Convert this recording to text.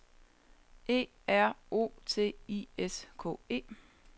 E R O T I S K E